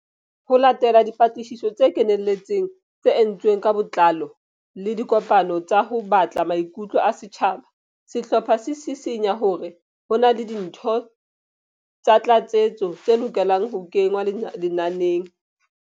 Ho latela dipatlisiso tse kenelletseng tse entsweng ka botlao le dikopano tsa ho batla maikutlo a setjhaba, sehlopha se sisinya hore ho na le dintho tsa tlatsetso tse lokelang ho kengwa lenaneng.